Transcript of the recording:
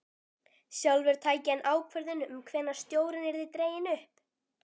Sjálfur tæki hann ákvörðun um hvenær stjórinn yrði dreginn upp.